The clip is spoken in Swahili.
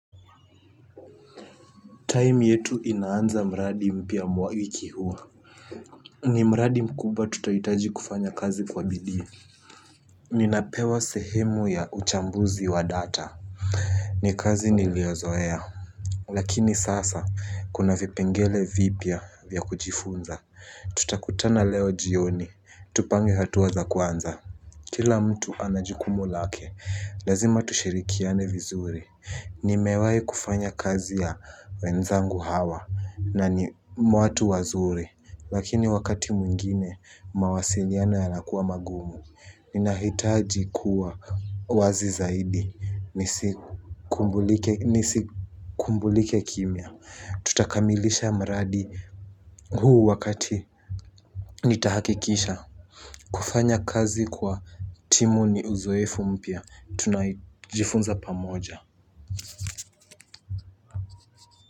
Time yetu inaanza mradi mpya mwa wiki huo. Ni mraadi mkumbwa tutahitaji kufanya kazi kwa bidii. Ninapewa sehemu ya uchambuzi wa data. Ni kazi niliozoea. Lakini sasa kuna vipengele vipya vya kujifunza. Tutakutana leo jioni. Tupange hatua za kwanza. Kila mtu anajukumu lake. Lazima tushirikiane vizuri. Nimewai kufanya kazi ya wenzangu hawa. Na ni mwatu wazuri, lakini wakati mwingine mawasiliano yanakuwa magumu. Ninahitaji kuwa wazi zaidi, nisikumbulike kimya. Tutakamilisha mradi huu wakati nitahakikisha. Kufanya kazi kwa timu ni uzoefu mpya, tunajifunza pamoja.